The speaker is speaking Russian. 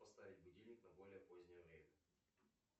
поставить будильник на более позднее время